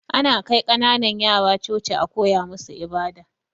Ana kai kananan yara Coci a koya musu ibada